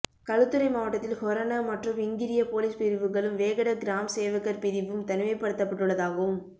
களுத்துறை மாவட்டத்தில் ஹொரண மற்றும் இங்கிரிய பொலிஸ் பிரிவுகளும் வேகட கிராம் சேவகர் பிரிவும் தனிமைப்படுத்தப்பட்டுள்ளதாகவும்